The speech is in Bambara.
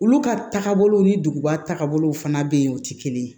Olu ka taagabolo ni duguba tagabolow fana bɛ yen o tɛ kelen ye